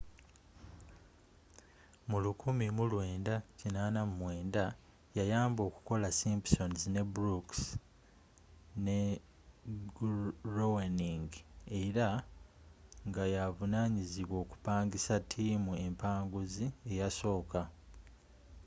mu 1989 yayamba okukola simpsons ne brooks and groening era nga yaavunanyizibwa okupangisa tiimu empanguzi eyasooka